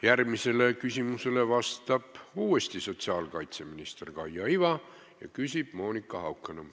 Järgmisele küsimusele vastab jälle sotsiaalkaitseminister Kaia Iva, küsib Monika Haukanõmm.